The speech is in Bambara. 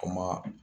Kuma